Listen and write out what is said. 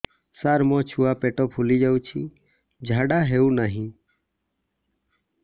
ସାର ମୋ ଛୁଆ ପେଟ ଫୁଲି ଯାଉଛି ଝାଡ଼ା ହେଉନାହିଁ